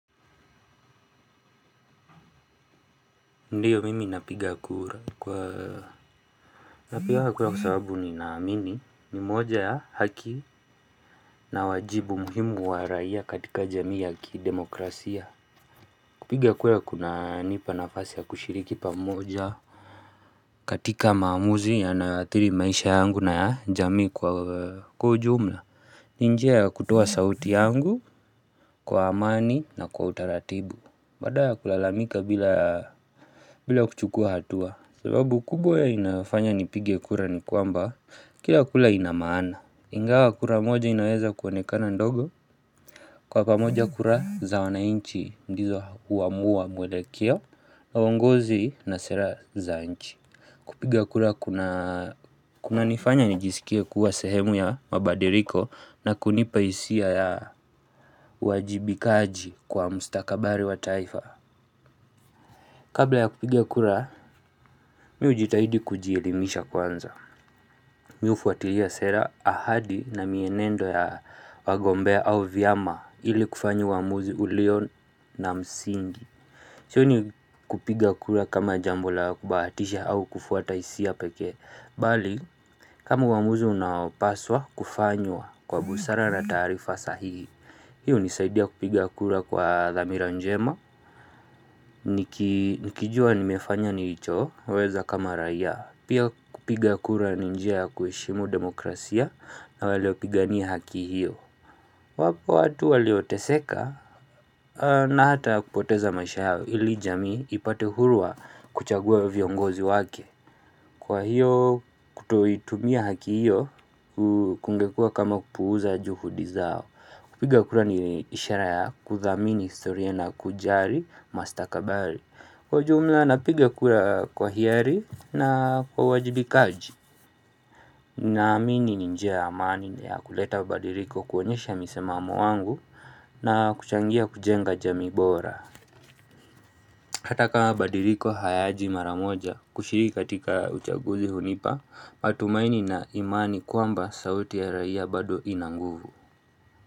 Ndiyo mimi napiga kura kwa Napiganga kura kwa sababu ninaamini ni moja ya haki na wajibu muhimu wa raia katika jamii ya kidemokrasia. Kupiga kura kunanipa nafasi ya kushiriki pamoja katika maamuzi yanayoathiri maisha yangu na jamii kwa kujumla ni njia ya kutoa sauti yangu kwa amani na kwa utaratibu. Baada ya kulalamika bila bila kuchukua hatua sababu kubwa ya inafanya nipigia kura ni kwamba, kila kura ina maana Ingawa kura moja inaweza kuonekana ndogo Kwa pamoja kura za wananchi, ndizo huamua mwelekeo, na uongozi na sera za inchi kupigia kura kunanifanya nijisikia kuwa sehemu ya mabadiliko na kunipa hisia ya uwajibikaji kwa mstakabali wa taifa Kabla ya kupigia kura, mi hujitahidi kujielimisha kwanza Mi hufuatilia sera ahadi na mienendo ya wagombea au vyama ili kufanya uamuzi ulio na msingi. Sioni kupiga kura kama jambo la kubahatisha au kufuata hisia pekee Bali kama uamuzi unaopaswa kufanywaa kwa busara na taarifa sahihi, Hii hunisaidia kupiga kura kwa dhamira njema Nikijua nimefanya nilichoweza kama raia Pia kupiga kura ni njia ya kuheshimu demokrasia na waliopigania haki hiyo wapo watu walioteseka na hata kupoteza maisha yao ili jamii ipate huru wa kuchagua viongozi wake Kwa hiyo kutoitumia haki hiyo kungekua kama kupuuza juhudi zao. Kupiga kura ni ishara ya kuthamini historia na kujali mastakabali. Kwa jumla napiga kura kwa hiari na kwa uajibikaji Naamini ni njia ya amani ya kuleta badiliko kuonyesha msimamo wangu na kuchangia kujenga jamii bora Hataka kama badiliko hayaji maramoja kushiriki katika uchaguzi hunipa matumaini na imani kwamba sauti ya raia bado ina nguvu.